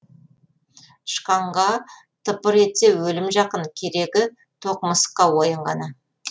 тышқанға тыпыр етсе өлім жақын керегі тоқ мысыққа ойын ғана